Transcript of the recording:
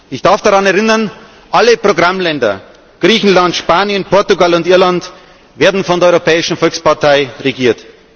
Ich darf daran erinnern Alle Programmländer Griechenland, Spanien, Portugal und Irland werden von der Europäischen Volkspartei regiert.